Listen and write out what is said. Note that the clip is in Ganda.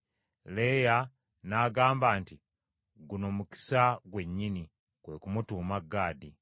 Leeya n’agamba nti, “Guno mukisa gwennyini!” Kwe kumutuuma Gaadi.